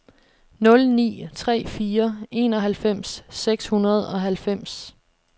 nul ni tre fire enoghalvfems seks hundrede og halvfems